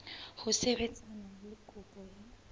ho sebetsana le kopo ya